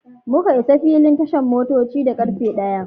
Muka isa filin tashan motoci da karfe ɗaya.